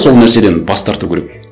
сол нәрседен бас тарту керек